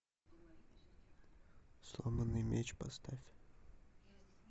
сломанный меч поставь